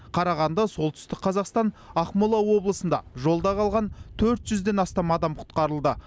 қарағанды солтүстік қазақстан ақмола облысында жолда қалған төрт жүзден астам адам құтқарылды